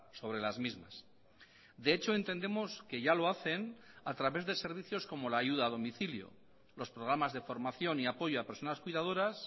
sobre las mismas de hecho entendemos que ya lo hacen a través de servicios como la ayuda a domicilio los programas de formación y apoyo a personas cuidadoras